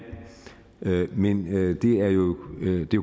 men det er jo